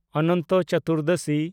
Anant Chaturdashi